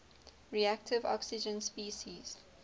reactive oxygen species